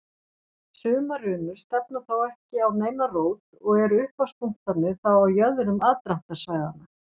Sumar runur stefna þó ekki á neina rót og eru upphafspunktarnir þá á jöðrum aðdráttarsvæðanna.